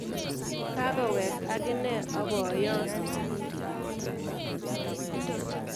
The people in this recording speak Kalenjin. Kakowek akinee aboyon